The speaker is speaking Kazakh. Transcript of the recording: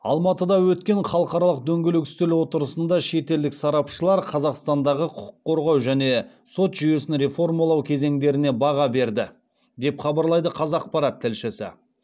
алматыда өткен халықаралық дөңгелек үстел отырысында шетелдік сарапшылар қазақстандағы құқық қорғау және сот жүйесін реформалау кезеңдеріне баға берді деп хабарлайды қазақпарат тілшісі